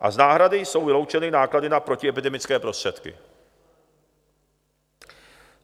A z náhrady jsou vyloučeny náklady na protiepidemické prostředky.